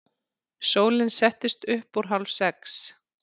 Sólin settist upp úr hálfsex.